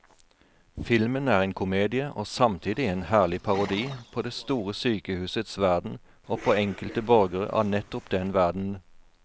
Filmen er en komedie og samtidig en herlig parodi på det store sykehusets verden og på enkelte borgere av nettopp den verdenen.